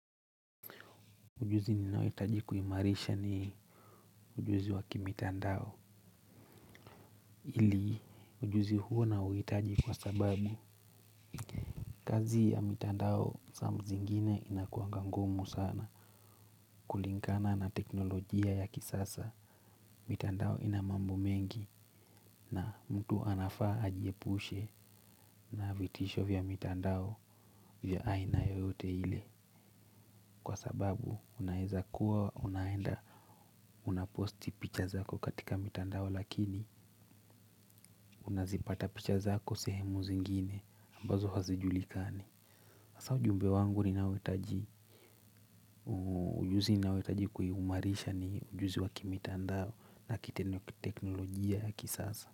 Ujuzi ninayohitaji kuimarisha ni ujuzi wakimitandao. Ili ujuzi huo nauhitaji kwa sababu kazi ya mitandao sa zingine inakuanga ngumu sana kulingana na teknolojia ya kisasa. Mitandao ina mambo mengi na mtu anafaa ajiepushe na vitisho vya mitandao vya aina yoyote ile. Kwa sababu unaweza kuwa unaenda unaposti picha zako katika mitandao lakini unazipata picha zako sehemu zingine ambazo hazijulikani hasa ujumbe wangu ninaohitaji ujuzi ninayohitaji kuiumarisha ni ujuzi wakimitandao na kitendo kiteknolojia ya kisasa.